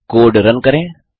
अब code run करें